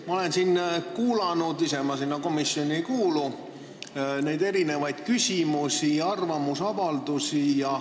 Ma olen siin kuulanud, ise ma sinna komisjoni ei kuulu, küsimusi ja arvamusavaldusi.